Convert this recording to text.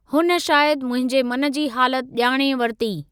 हुन शायदि मुंहिंजे मन जी हालति ॼाणे वरिती।